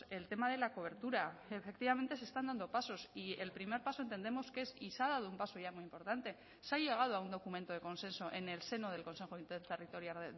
el tema de la cobertura efectivamente se están dando pasos y el primer paso entendemos que es y se ha dado un paso ya muy importante se ha llegado a un documento de consenso en el seno del consejo interterritorial